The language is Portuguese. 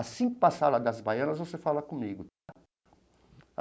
Assim que passar lá das Baianas, você fala comigo.